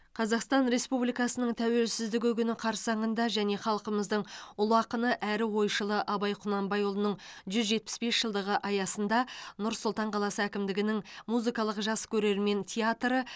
қазақстан республикасының тәуелсіздігі күні қарсаңында және халқымыздың ұлы ақыны әрі ойшылы абай құнанбайұлының жүз жетпіс бес жылдығы аясында нұр сұлтан қаласы әкімдігінің музыкалық жас көрермен театры